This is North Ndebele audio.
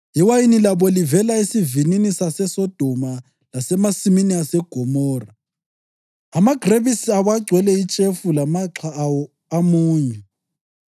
Iwayini labo livela esivinini saseSodoma lasemasimini aseGomora. Amagrebisi abo agcwele itshefu, lamaxha awo amunyu.